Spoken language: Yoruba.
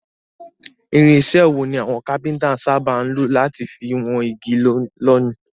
Irinsẹ́ wo ni àwon carpenter sábà lo láti fi won igi lónìí?